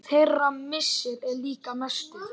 Þeirra missir er líka mestur.